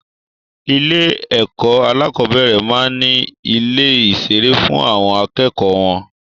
Ilé ẹ̀kọ́ alákọ̀bẹ́rẹ̀ maá n ni ilé ìṣeré fún àwọn akẹ́kọ̀ọ́ wọn